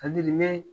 Adimi